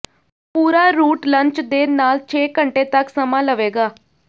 ਪੂਰਾ route lunch ਦੇ ਨਾਲ ਛੇ ਘੰਟੇ ਤਕ ਸਮਾਂ ਲਵੇਗਾ